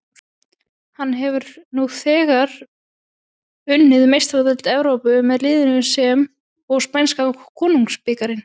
Hann hefur nú þegar unnið Meistaradeild Evrópu með liðinu sem og spænska konungsbikarinn.